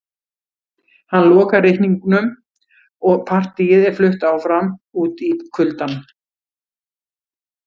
Hann lokar reikningnum og partíið er flutt áfram út í kuldann